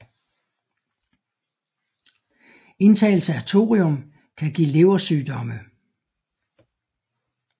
Indtagelse af thorium kan give leversygdomme